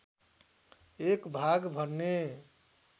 एक भाग भन्ने